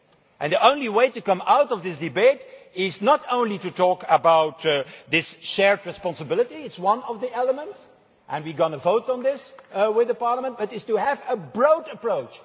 and the only way to come out of this debate is not only to talk about this shared responsibility that is one of the elements, and we are going to vote on this with Parliament but it is to have a broad approach.